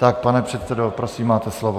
Tak, pane předsedo, prosím máte slovo.